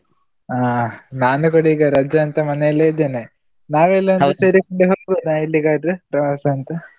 ಹಾ ನಾನು ಕೂಡ ಈಗ ರಜೆ ಅಂತ ಮನೇಲ್ಲೇ ಇದ್ದೇನೆ. ನಾವು ಎಲ್ಲ ಸೇರಿ ಹೋಗಬೋದ ಎಲ್ಲಿಗಾದ್ರೂ ಪ್ರವಾಸ ಅಂತ?